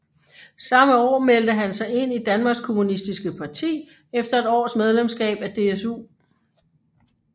Samme år meldte han sig ind i Danmarks Kommunistiske Parti efter et års medlemskab af DSU